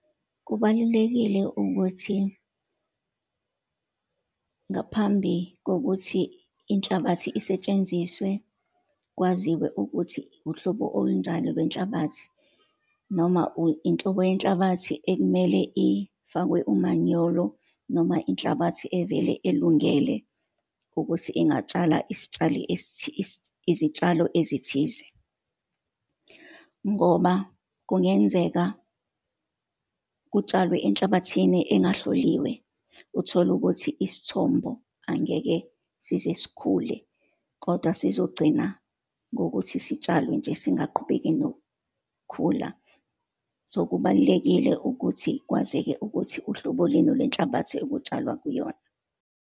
Kubalulekile ukuthi ngaphambi kokuthi inhlabathi isetshenziswe, kwaziwe ukuthi uhlobo olunjani lwenhlabathi, noma inhlobo yenhlabathi ekumele ifakwe umanyolo, noma inhlabathi evele elungele ukuthi ingatshala isitshali izitshalo ezithize. Ngoba kungenzeka kutshalwe enhlabathini engahloliwe. Uthole ukuthi isithombo angeke sizesikhule kodwa sizogcina ngokuthi sitshalwe nje singaqhubeki nokukhula. So, kubalulekile ukuthi kwazeke ukuthi uhlobo lino lwenhlabathi okutshalwa kuyona.